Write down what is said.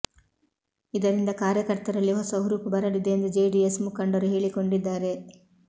ಇದರಿಂದ ಕಾರ್ಯ ಕರ್ತರಲ್ಲಿ ಹೊಸ ಹುರುಪು ಬರಲಿದೆ ಎಂದು ಜೆಡಿಎಸ್ ಮುಖಂಡರು ಹೇಳಿ ಕೊಂಡಿದ್ದಾರೆ